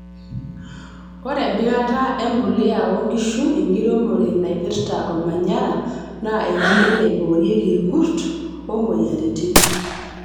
Ore empikataa empuliya oonkishu enkiremore naipirta ormanyara naa enkoitoi naiboorieki irkurt oo moyiaritin.